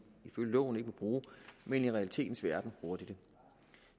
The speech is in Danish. ifølge loven ikke må bruge men i realitetens verden bruger de det